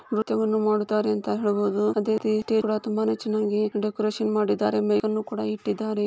ನೃತ್ಯವನ್ನು ಮಾಡುತ್ತಾರೆ ಅಂತ ಹೇಳ್ಬೋದು ಅದೇ ರೀತಿ ಇವ್ರೆಲ್ಲ ತುಂಬಾನೇ ಚೆನ್ನಾಗಿ ಡೆಕೋರೇಷನ್ ಮಾಡಿದರೆ ಮೇಕ್ ಅನ್ನು ಇಟ್ಟಿದ್ದಾರೆ .